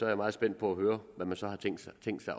jeg meget spændt på at høre hvad man så har tænkt sig